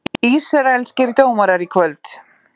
Ísraelskir dómarar í kvöld